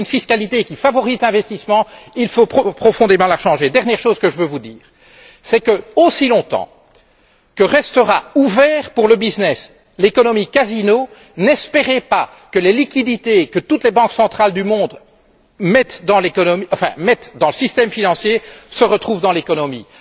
Si vous voulez une fiscalité qui favorise l'investissement, il faut profondément la changer. Dernière chose que je veux vous dire, c'est que, aussi longtemps que restera ouvert pour le business l'économie casino, n'espérez pas que les liquidités que toutes les banques centrales du monde mettent dans le système financier se retrouvent dans l'économie.